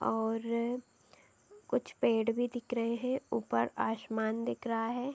और कुछ पेड़ भी दिख रहे हैं । ऊपर आसमान दिख रहा है।